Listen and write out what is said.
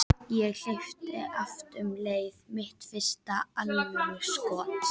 Ég hleypti af um leið: Mitt fyrsta alvöru skot.